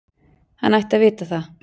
Hann ætti að vita það.